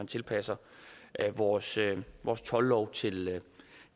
tilpasser vores vores toldlov til